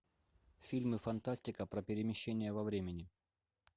фильмы фантастика про перемещение во времени